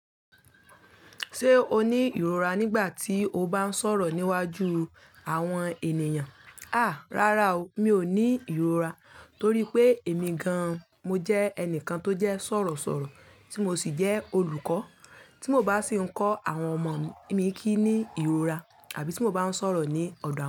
Ṣé o ní ìrora nígbà tí o bá ń sọ̀rọ̀ níwájú àwọn ènìyàn? A! Rárá o, mi ò ní ìrora torí pé èmi gan-an mo jẹ́ ẹnìkan tó jẹ́ sọ̀rọ̀ sọ̀rọ̀ tí mo sì jẹ́ olùkọ́, tí mo bá sì ń kọ́ àwọn ọmọ mi kí ní ìrora àbí tí mo bá ń sọ̀rọ̀ ní ọ̀dọ̀ àwọn ọmọ mi.